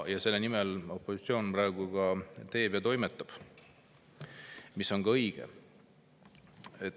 Ja selle nimel opositsioon praegu ka toimetab, mis on õige.